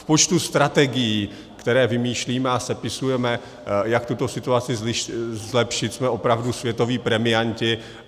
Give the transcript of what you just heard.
V počtu strategií, které vymýšlíme a sepisujeme, jak tuto situaci zlepšit, jsme opravdu světoví premianti.